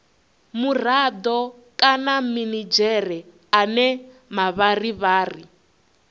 murado kana minidzhere ane mavharivhari